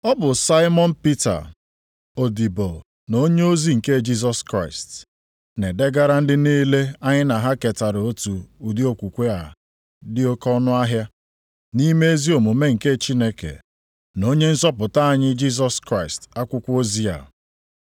Ọ bụ Saimọn Pita, odibo na onyeozi nke Jisọs Kraịst, Na-edegara ndị niile anyị na ha ketara otu ụdị okwukwe a dị oke ọnụahịa, nʼime ezi omume nke Chineke na Onye nzọpụta anyị Jisọs Kraịst akwụkwọ ozi a: